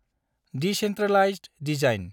Decentralised design.